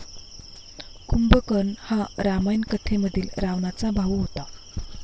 कुंभकर्ण हा रामायण कथेमधील रावणाचा भाऊ होता.